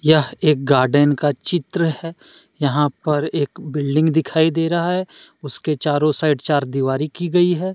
यह एक गार्डन का चित्र है यहां पर एक बिल्डिंग दिखाई दे रहा है उसके चारों साइड चार दिवारी की गईं है।